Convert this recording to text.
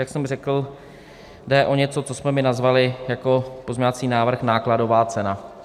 Jak jsem řekl, jde o něco, co jsme my nazvali jako pozměňovací návrh nákladová cena.